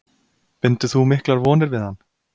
Bindur þú miklar vonir við hann?